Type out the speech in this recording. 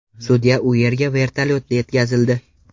Sudya u yerga vertolyotda yetkazildi.